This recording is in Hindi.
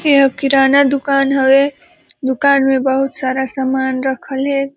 के ह किराना दुकान हवे दुकान में बहुत सारा सामान रखल हे ।